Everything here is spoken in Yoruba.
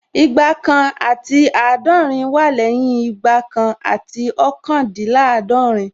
Igba kan àti àádọ́rin wá lẹ́yìn Igba kan àti ọ́kàndínláàdọ̀rín